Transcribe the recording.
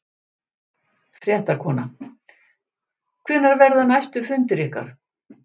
Fréttakona: Hvenær verða næstu fundir ykkar?